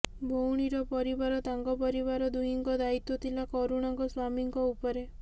ଭଉଣୀର ପରିବାର ତାଙ୍କ ପରିବାର ଦୁହିଁଙ୍କ ଦାୟିତ୍ୱ ଥିଲା କରୁଣାଙ୍କ ସ୍ୱାମୀଙ୍କ ଉପରେ